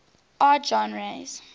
art genres